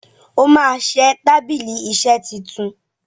óma ṣẹ tábìlì iṣe títún